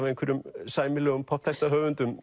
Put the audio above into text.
einhverjum sæmilegum